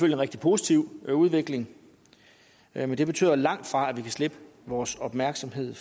en rigtig positiv udvikling men det betyder langtfra at vi kan slippe vores opmærksomhed